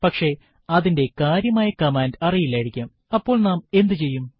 പക്ഷെ അതിന്റെ കാര്യമായ കമാൻഡ് അറിയില്ലായിരിക്കാംഅപ്പോൾ നാം എന്ത് ചെയ്യും